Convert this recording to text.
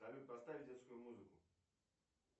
салют поставь детскую музыку